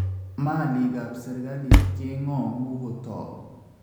Maalik ab serkalit keng�oongu kotook